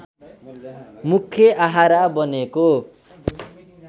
मुख्य आहारा बनेको